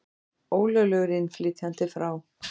Ólöglegur innflytjandi frá